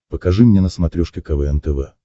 покажи мне на смотрешке квн тв